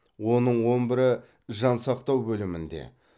оның он бірі жансақтау бөлімінде